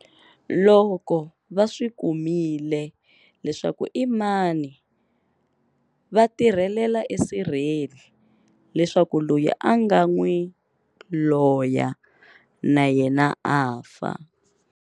Loko va swi kumile leswaku i mani va tirhelela esirheni leswaku loyi a nga n'wi loya na yena a fa.